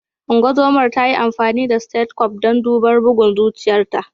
Ungozomar ta yi amfani da stethoscope don duba bugun zuciyarta.